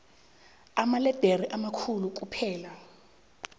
amaledere amakhulu kuphela